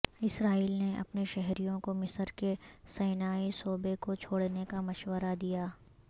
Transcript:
اسرائیل نے اپنے شہریوں کو مصر کے سینائی صوبے کوچھوڑنے کا مشورہ دیا